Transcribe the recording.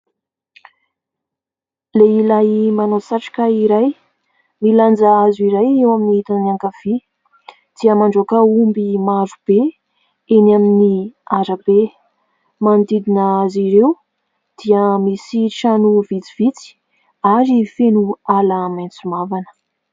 Lehilahy manao satroka iray, milanja hazo iray eo midina ankavia dia mandroaka omby marobe eny amin'ny arabe, manodidina azy ireo dia misy trano vitsivitsy ary feno ala maitso mavana.